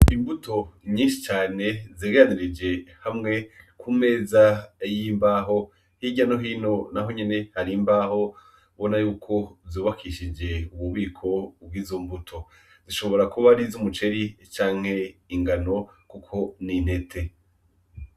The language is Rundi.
Imbuto nyinshi cane zegeranirije hamwe kumeza y'imbaho ,hirya no hino naho nyene har'imbaho ubona yuko zubakishije ububiko bw'izo mbuto, ashobora kuba ariz'umuceri canke ingano Kuko n'intete.